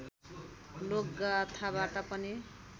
लोकगाथाबाट पनि